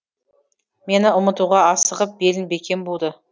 мені ұмытуға асығып белін бекем буды